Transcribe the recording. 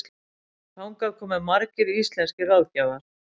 Þangað komu margir íslenskir ráðgjafar.